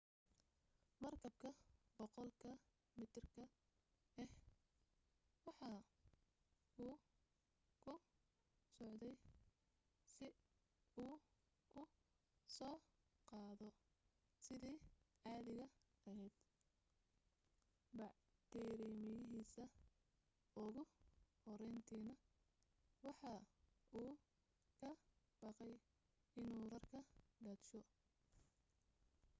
markabka 100 ka mitirka ah waxa uu ku socday si uu u soo qaado sidii caadiga ahayd bacrimiyihiisii ugu horrayntiina waxa uu ka baqay inuu rarka daadsho